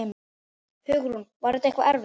Hugrún: Var þetta eitthvað erfitt?